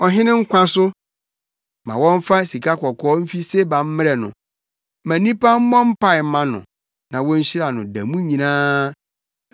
Ɔhene nkwa so! ma wɔmfa sikakɔkɔɔ mfi Seba mmrɛ no. Ma nnipa mmɔ mpae mma no na wonhyira no da mu nyinaa.